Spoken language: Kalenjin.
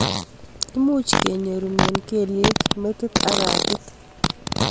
Much kenyorune kelyek ,metit ak katit